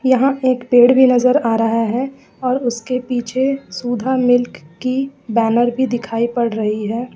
यहां एक पेड़ भी नजर आ रहा है और उसके पीछे सुधा मिल्क की बैनर भी दिखाई पड़ रही है।